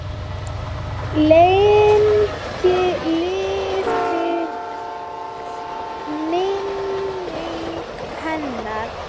Lengi lifi minning hennar!